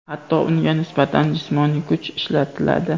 hatto unga nisbatan jismoniy kuch ishlatiladi.